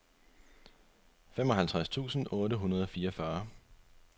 femoghalvtreds tusind otte hundrede og fireogfyrre